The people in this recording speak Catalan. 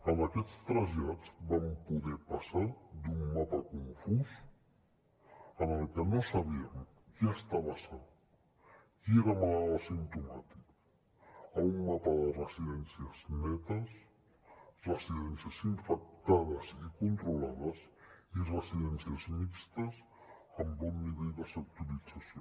en aquests trasllats vam poder passar d’un mapa confús en el qual no sabíem qui estava sa i qui era malalt asimptomàtic a un mapa de residències netes residències infectades i controlades i residències mixtes amb bon nivell de sectorització